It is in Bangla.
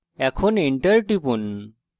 এখন enter টিপুন